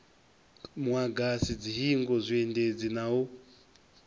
muagasi dzihingo zwiendedzi na u